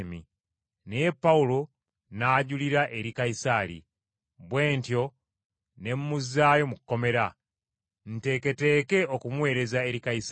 Naye Pawulo n’ajulira eri Kayisaali! Bwe ntyo ne mmuzzaayo mu kkomera, nteeketeeke okumuweereza eri Kayisaali.”